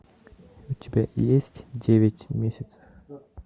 у тебя есть девять месяцев